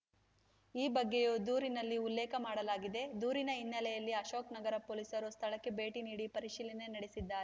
ಈ ಬಗ್ಗೆಯೂ ದೂರಿನಲ್ಲಿ ಉಲ್ಲೇಖ ಮಾಡಲಾಗಿದೆ ದೂರಿನ ಹಿನ್ನೆಲೆಯಲ್ಲಿ ಅಶೋಕ್‌ ನಗರ ಪೊಲೀಸರು ಸ್ಥಳಕ್ಕೆ ಭೇಟಿ ನೀಡಿ ಪರಿಶೀಲನೆ ನಡೆಸಿದ್ದಾರೆ